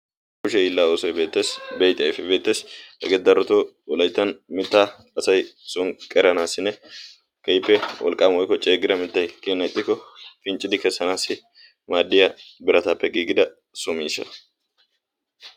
kushe hillaa oosoi beixai beettessi hegee daroto olaittan mitta asai sonqqeranaassinne keippe wolqqaama woikko ceegira mittai kiyonaitikko pinccidi kessanaassi maaddiya birataappe giigida so miishsha